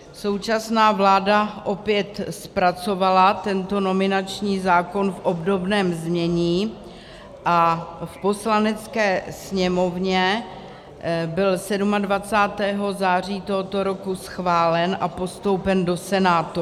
Současná vláda opět zpracovala tento nominační zákon v obdobném znění a v Poslanecké sněmovně byl 27. září tohoto roku schválen a postoupen do Senátu.